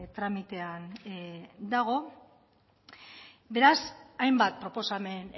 tramitean dago beraz hainbat proposamen